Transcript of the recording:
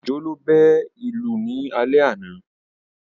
Òjó ló bẹ́ ìlù ní alẹ́ àná